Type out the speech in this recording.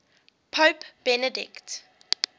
pope benedict